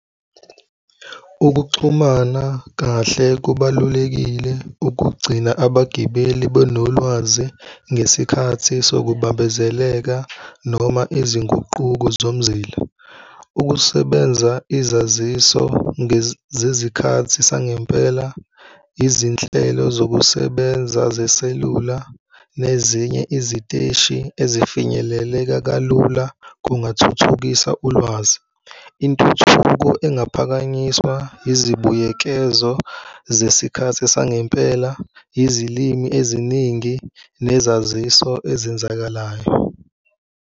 Ukuxhumana kahle kubalulekile ukugcina abagibeli benolwazi ngesikhathi sokubambezeleka noma izinguquko zomzila, ukusebenza, izaziso zezikhathi sangempela, izinhlelo zokusebenza zeselula nezinye iziteshi ezifinyeleleka kalula kungathuthukisa ulwazi, intuthuko engaphakanyiswa izibuyekezo zesikhathi sangempela, izilimi eziningi, nesaziso ezenzakalayo.